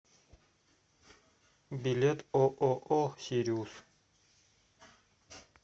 билет ооо сириус